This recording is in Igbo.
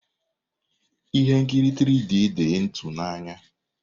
Ihe nkiri 3D dị ịtụnanya.